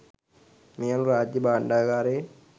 මේ අනුව රාජ්‍ය භාණ්ඩාගාරයෙන්